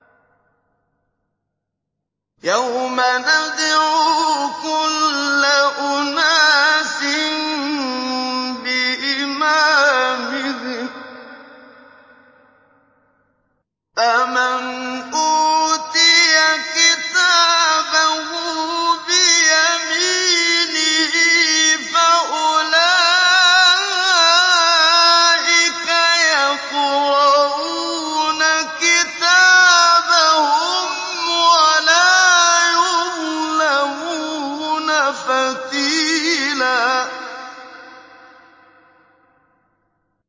يَوْمَ نَدْعُو كُلَّ أُنَاسٍ بِإِمَامِهِمْ ۖ فَمَنْ أُوتِيَ كِتَابَهُ بِيَمِينِهِ فَأُولَٰئِكَ يَقْرَءُونَ كِتَابَهُمْ وَلَا يُظْلَمُونَ فَتِيلًا